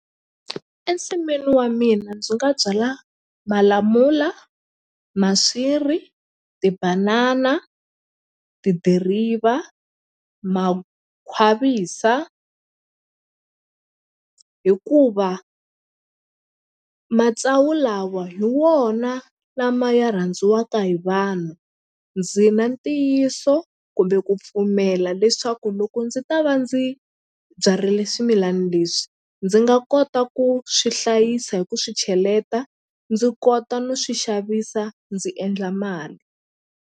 Ensinwini wa mina ndzi nga byala malamula, maswiri, tibanana, tidiriva, makhwavisa hikuva matsawu lawa hi wona lama ya rhandziwaka hi vanhu ndzi na ntiyiso kumbe ku pfumela leswaku loko ndzi ta va ndzi byarile swimilani leswi ndzi nga kota ku swi hlayisa hi ku swi cheleta ndzi kota no swi xavisa ndzi endla mali.